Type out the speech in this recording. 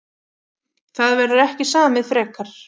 Það verður ekki samið frekar